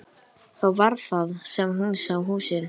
Þá var það sem hún sá húsið.